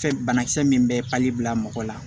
Fɛn banakisɛ min bɛ pali bila mɔgɔ la